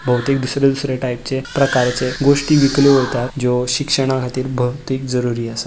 बहुतीक दुसरे दुसरे टायपचे प्रकाराचे गोष्टी विकल्यो वता ज्यो शिक्षणा खातीर बहूतीक जरुरी आसा.